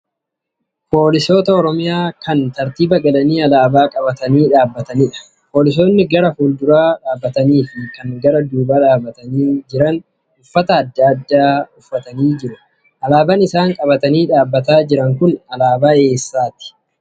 Poolisoota Oromiyaa kan tartiiba galanni alaabaa qabatanii dhaabbatanidha. Poolisoonni gara fuula duraa dhaabbatanii fi kan gara duubaa dhaabbatanii jiran uffata adda addaa uffatanii jiru. Alaabaan isaan qabatanii dhaabbataa jiran kun alaabaa eessaati?